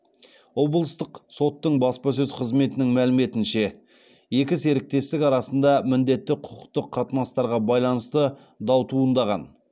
облыстық соттың баспасөз қызметінің мәліметінше екі серіктестік арасында міндетті құқықтық қатынастарға байланысты дау туындаған